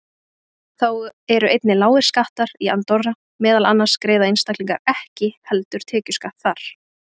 Þá eru einnig lágir skattar í Andorra, meðal annars greiða einstaklingar ekki heldur tekjuskatt þar.